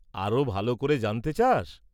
আরো ভাল করে জানতে চাস?